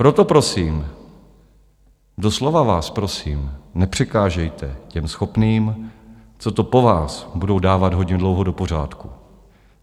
Proto prosím, doslova vás prosím, nepřekážejte těm schopným, co to po vás budou dávat hodně dlouho do pořádku.